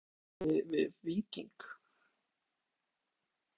Er félagið í miklu samstarfi við Víking?